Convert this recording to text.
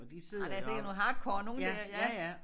Ej der sikkert nogle hardcore nogle der ja